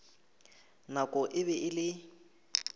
nako e be e le